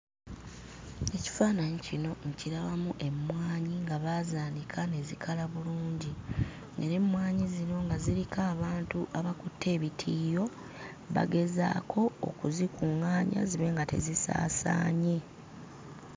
Ekifaananyi kino nkirabamu emmwanyi nga baazaanika ne zikala bulungi era emmwanyi zino nga ziriko abantu abakutte ebitiiyo; bagezaako okuzikuŋŋaanya zibe nga tezisaasaanye.